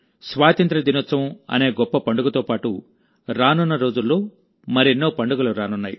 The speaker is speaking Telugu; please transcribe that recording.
స్వాతంత్ర్య దినోత్సవం అనే గొప్ప పండుగతో పాటు రానున్న రోజుల్లో మరెన్నో పండుగలు రానున్నాయి